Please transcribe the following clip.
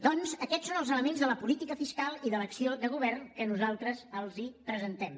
doncs aquests són els elements de la política fiscal i de l’acció de govern que nosaltres els presentem